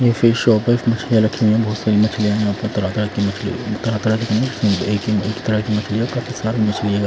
ये fish shop है मछलियां रखी हुई है बहुत सारी मछलियां है यहां पर तरह तरह की मछलियां तरह तरह की नहीं एक तरह की मछलियां काफी सारी मछलियां--